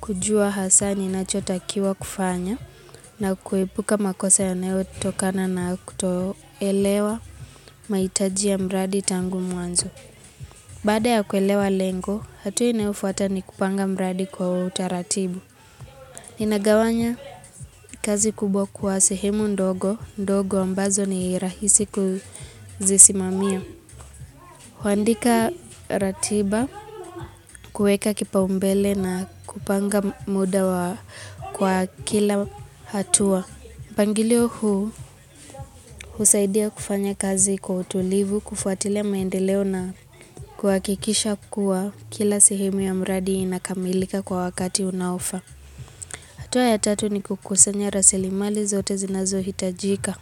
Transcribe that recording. kujua hasa ninachotakiwa kufanya na kuipuka makosa yanayo tokana na kutoelewa. Maitajia ya mradi tangu muanzo. Bada ya kuelewa lengo, hatua inayofuata ni kupanga mradi kwa utaratibu. nInagawanya kazi kubwa kuwa sehemu ndogo, ndogo ambazo ni rahisi kuzisimamia. Huandika ratiba, kueka kipa umbele na kupanga muda kwa kila hatua. Pangilio huu husaidia kufanya kazi kwa utulivu, kufuatile maendeleo na kwa kikisha kuwa kila sehemu ya mradi inakamilika kwa wakati unaofa hatua ya tatu ni kukusanya rasilimali zote zinazo hitajika.